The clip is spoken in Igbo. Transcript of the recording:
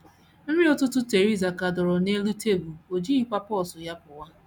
Nri ụtụtụ Theresa ka dọrọ n’elu tebụl, o jighịkwa pọọsụ ya pụwa.